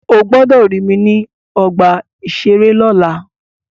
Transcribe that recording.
Ó gbọ́dọ̀ rí mi ní ọgbà-ìṣeré lọ́la!